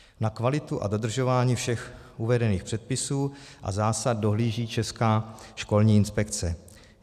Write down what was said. Na kvalitu a dodržování všech uvedených předpisů a zásad dohlíží Česká školní inspekce.